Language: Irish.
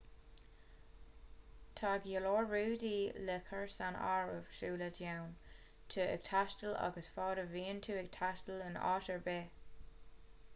tá go leor rudaí le cur san áireamh sula dtéann tú ag taisteal agus fad a bhíonn tú ag taisteal in áit ar bith